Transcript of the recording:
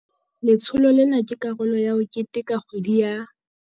Letsholo lena ke karolo ya ho keteka kgwedi ya.